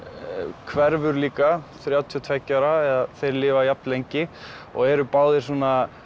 hverfur líka þrjátíu og tveggja ára eða þeir lifa jafn lengi og eru báðir svona